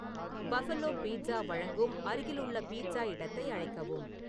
buffalo pizza வழங்கும் அருகிலுள்ள pizza இடத்தை அழைக்கவும்